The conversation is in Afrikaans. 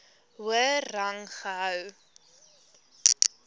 hoër rang gehou